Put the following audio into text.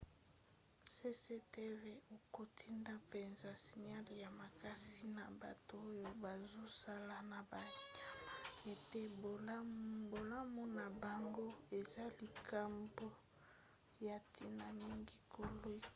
cctv akotinda mpenza signale ya makasi na bato oyo bazosala na banyama ete bolamu na bango eza likambo ya ntina mingi koleka